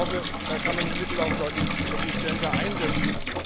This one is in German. Ich glaube, da kann man die Mittel auch deutlich effizienter einsetzen.